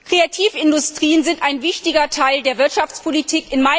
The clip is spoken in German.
Kreativindustrien sind ein wichtiger Teil der Wirtschaftspolitik.